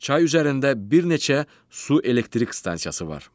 Çay üzərində bir neçə su elektrik stansiyası var.